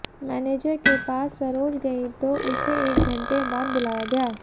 manager के पास सरोज गयी तो उसे एक घंटे बाद बुलाया गया